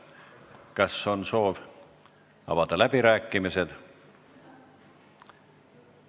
Kas on soovi avada läbirääkimisi?